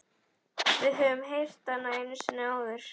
Við höfum heyrt hana einu sinni áður.